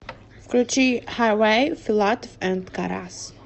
включи хайвэй филатов энд карас